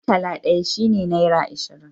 Murtala ɗaya shi ne nera ashirin